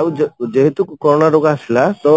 ଆଉ ଯେହେତୁ କରୋନା ରୋଗ ଆସିଲା ତ